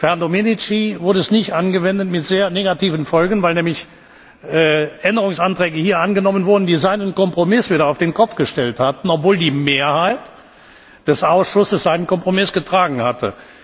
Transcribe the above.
Für Herrn Domenici wurde es nicht angewendet, mit sehr negativen Folgen, weil hier nämlich Änderungsanträge angenommen wurden, die seinen Kompromiss wieder auf den Kopf gestellt haben, obwohl die Mehrheit des Ausschusses seinen Kompromiss getragen hatte.